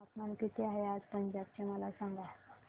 तापमान किती आहे आज पंजाब चे मला सांगा